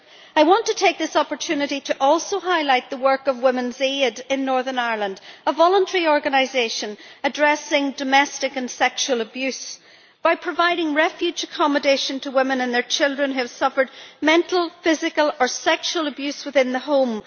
I want to take this opportunity to also highlight the work of Women's Aid in Northern Ireland, a voluntary organisation addressing domestic and sexual abuse by providing refuge accommodation to women and their children who have suffered mental, physical or sexual abuse within the home.